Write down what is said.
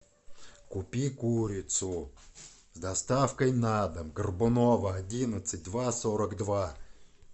купи курицу с доставкой на дом горбунова одиннадцать два сорок два